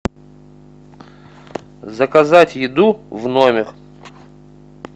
заказать еду в номер